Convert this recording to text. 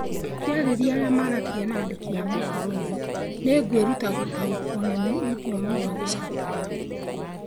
Akĩarĩria arĩa maaragia na andĩki a mohoro ũũ: 'Nĩ ngwĩruta gũtaũkĩrũo nĩ rũthiomi rwa Gicatalan.'